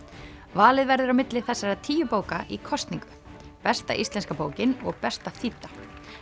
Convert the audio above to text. valið verður á milli þessara tíu bóka í kosningu besta íslenska bókin og besta þýdda